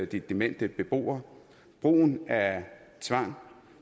de demente beboere brugen af tvang